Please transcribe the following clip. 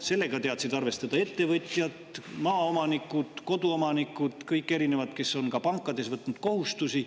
Sellega teadsid arvestada ettevõtjad, maaomanikud, koduomanikud, kõik, kes on ka pankades võtnud kohustusi.